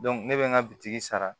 ne bɛ n ka bitiki sara